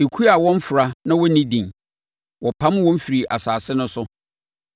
Ekuo a wɔmfra na wɔnni din, wɔpam wɔn firii asase no so.